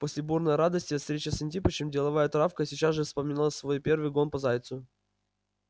после бурной радости от встречи с антипычем деловая травка сейчас же вспомнила свой первый гон по зайцу